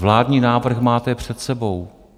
Vládní návrh máte před sebou.